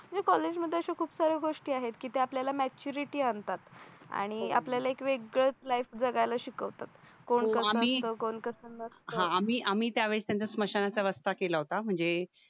कॉलेजमध्ये अशा खूप साऱ्या गोष्टी आहेत त्या आपल्याला मॅच्युरिटी आणतात आणि आपल्याला एक वेगळंच लाईफ जगायला शिकवतात कोण कसं आम्ही असतं कोण कसं असतं आम्ही आम्ही त्यावेळेस त्यांचा समशानाच रस्ता केला होता म्हणजे